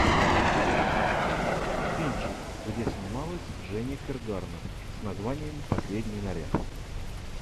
кинчик где снималась дженнифер гарнер с названием последний наряд